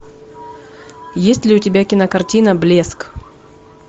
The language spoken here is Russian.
есть ли у тебя кинокартина блеск